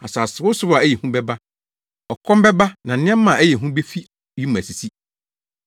Asasewosow a ɛyɛ hu bɛba, ɔkɔm bɛba na nneɛma a ɛyɛ hu befi wim asisi.